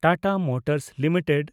Tata motors limited